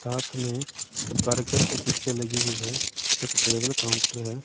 साथ में एक बर्गर की पिक्चर लगी हुई है एक टेबल काउंटर है।